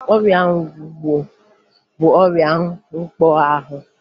Ọrịa ngwọ bụ ọrịa mkpọahụ